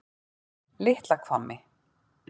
Litla Hvammi